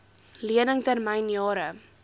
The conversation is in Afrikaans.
lening termyn jare